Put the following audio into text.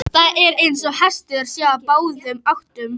Það er eins og hesturinn sé á báðum áttum.